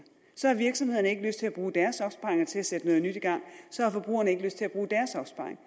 så har virksomhederne ikke lyst til at bruge deres opsparing til at sætte noget nyt i gang så har forbrugerne ikke lyst til at bruge deres opsparing